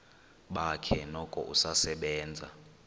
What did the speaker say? bakhe noko usasebenza